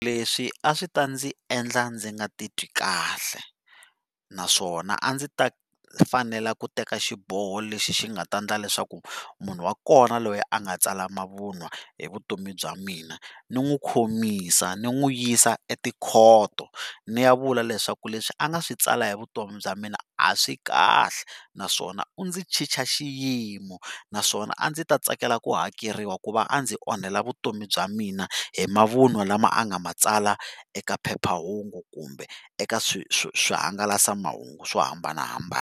Leswi a swi ta ndzi endla ndzi nga titwi kahle, naswona a ndzi ta fanela ku teka xiboho lexi xi nga ta ndla leswaku munhu wa kona loyi a nga tsala mavun'wa hi vutomi bya mina ni n'wi khomisa ni nwi yisa etikhoto ni ya vula leswaku leswi a nga swi tsala hi vutomi bya mina a swi kahle, naswona u ndzi chicha xiyimo naswona a ndzi ta tsakela ku hakeriwa ku va a ndzi onhela vutomi bya mina hi mavun'wa lama a nga ma tsala eka phephahungu kumbe eka swi swi swihangalasamahungu swo hambanahambana.